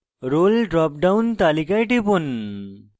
role drop down তালিকায় টিপুন